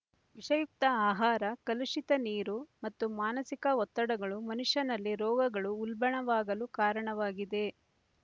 ವಿಷಯುಕ್ತ ಆಹಾರ ಕಲುಷಿತ ನೀರು ಮತ್ತು ಮಾನಸಿಕ ಒತ್ತಡಗಳು ಮನುಷ್ಯನಲ್ಲಿ ರೋಗಗಳು ಉಲ್ಬಣವಾಗಲು ಕಾರಣವಾಗಿದೆ